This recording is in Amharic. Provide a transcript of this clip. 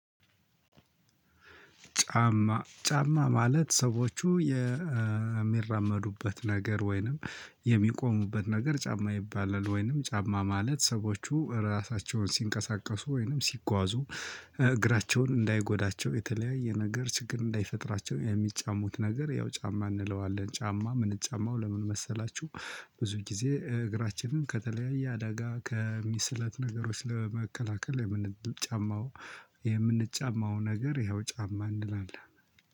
ጫማ ማለት ሰዎቹ የሚራመዱበት ነገር ወይንም የሚቆሙበት ነገር ጫማ ይባላል። ወይንም ጫማ ማለት ሰዎቹ ራሳቸውን ሲንቀሳቀሱ ወይንም ሲጓዙ እ እግራቸውን እንዳይጎዳቸው የተለያየ ነገር ችግር እንዳይፈጥራቸው የሚጫሙት ነገር ያው ጫማ እንለዋለን። ጫማ ምንጫማው ለምን መሰላችሁ? ብዙ ጊዜ እ እግራችንን ከተለያየ አደጋ ከሚ ስለት ነገሮች ለመከላከል የምንጫማው የምንጫማው ነገር ያው ጫማ እንላለን